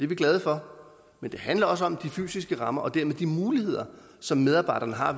vi glade for men det handler også om de fysiske rammer og dermed de muligheder som medarbejderne har